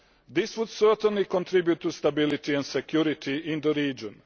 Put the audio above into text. This would certainly contribute to stability and security in the region.